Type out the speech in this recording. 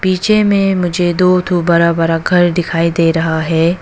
पीछे में मुझे दो ठो बड़ा बड़ा घर दिखाई दे रहा है।